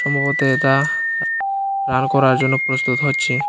সম্ভবত এতা রান করার জন্য প্রস্তুত হচ্ছে